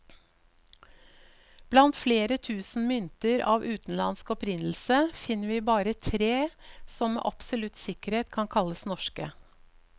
Blant flere tusen mynter av utenlandsk opprinnelse, finner vi bare tre som med absolutt sikkerhet kan kalles norske.